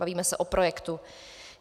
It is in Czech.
Bavíme se o projektu.